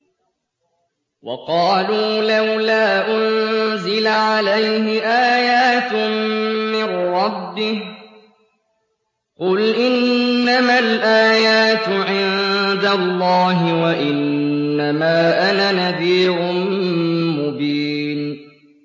وَقَالُوا لَوْلَا أُنزِلَ عَلَيْهِ آيَاتٌ مِّن رَّبِّهِ ۖ قُلْ إِنَّمَا الْآيَاتُ عِندَ اللَّهِ وَإِنَّمَا أَنَا نَذِيرٌ مُّبِينٌ